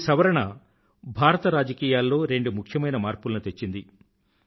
ఈ సవరణ భారత రాజకీయాలలో రెండు ముఖ్యమైన మార్పులను తెచ్చింది